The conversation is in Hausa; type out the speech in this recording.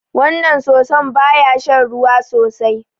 Wannan soso ba ya shan ruwa sosai.